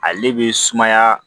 Ale bɛ sumaya